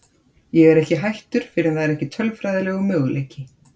Ég er ekki hættur fyrr en það er ekki tölfræðilegur möguleiki.